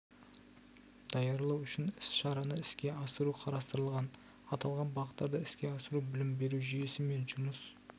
даярлау үшін іс-шараны іске асыру қарастырылған аталған бағыттарды іске асыру білім беру жүйесі мен жұмыс